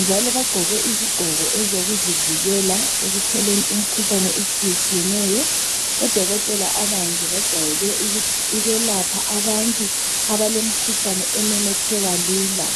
njalo bagqoke izigqoko ezokuzivikela ekutholeni imikhuhlane etshiyetshiyeneyo. Odokotela abanje bajwayele ukwelapha abantu abalemikhuhlane ememetheka lula.